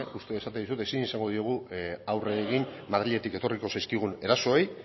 esaten diogu aurre egin madriletik etorriko zaizkigun erasoei